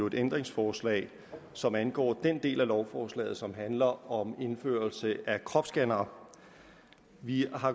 et ændringsforslag som angår den del af lovforslaget som handler om indførelse af kropsscannere vi har